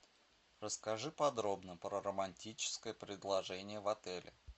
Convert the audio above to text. расскажи подробно про романтическое предложение в отеле